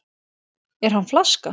Er hann flaska?